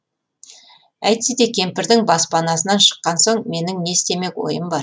әйтсе де кемпірдің баспанасынан шыққан соң менің не істемек ойым бар